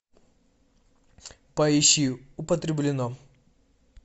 поищи употреблено